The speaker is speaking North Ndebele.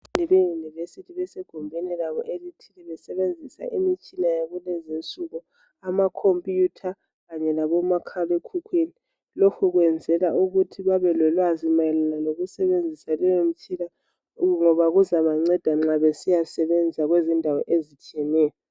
Eyenivesithi besegumbini labo lokusebenzisa imitshina yakulezi insuku ama computer kanye labo makhala ekhukhwini, lokhu kwenzelwa ukuthi babe lolwazi mayelana loku sebenzisa leyo mtshina ngoba kuzaba nceda nxa besiya sebenza kuzindawo ezitshiyeneyo.